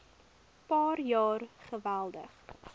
paar jaar geweldig